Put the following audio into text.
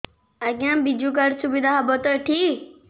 ଆଜ୍ଞା ବିଜୁ କାର୍ଡ ସୁବିଧା ହବ ତ ଏଠି